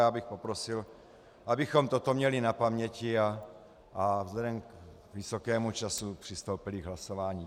Já bych poprosil, abychom toto měli na paměti a vzhledem k vysokému času přistoupili k hlasování.